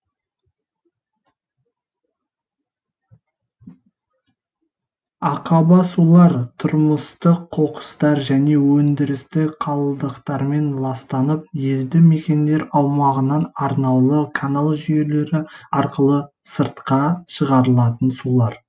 ақаба сулар тұрмыстық қоқыстар және өндірістік қалдықтармен ластанып елді мекендер аумағынан арнаулы канал жүйелері арқылы сыртқа шығарылатын сулар